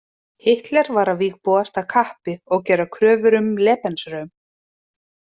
Hitler var að vígbúast af kappi og gera kröfur um „Lebensraum“.